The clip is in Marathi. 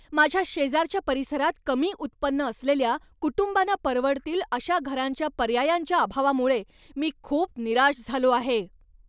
माझ्या शेजारच्या परिसरात कमी उत्पन्न असलेल्या कुटुंबांना परवडतील अशा घरांच्या पर्यायांच्या अभावामुळे मी खूप निराश झालो आहे.